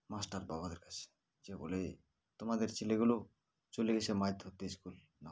master বাবাদের কাছে যেয়ে বলে তোমাদের ছেলেগুলো চলে গেছে মাছ ধরতে school না